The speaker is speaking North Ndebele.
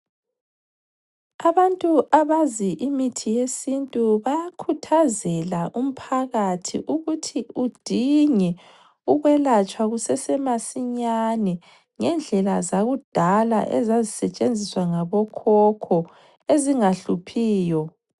Abantu abazi imithi yesintu bayakhuthazela umphakathi ukuthi udinge ukwelatshwa kusase masinyane ngendlela zakudala ezazisetshenziswa ngabo khokho ezingahluphiyo.